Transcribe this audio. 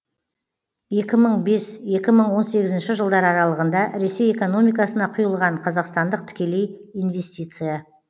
екі мың бес екі мың он сегізінші жылдар аралығында ресей экономикасына құйылған қазақстандық тікелей инвестиция